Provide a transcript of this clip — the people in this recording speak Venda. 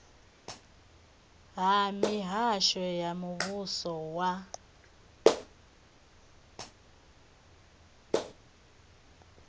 ha mihasho ya muvhuso wa